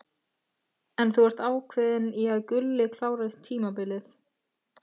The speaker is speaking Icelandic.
En þú ert ákveðinn í að Gulli klári tímabilið?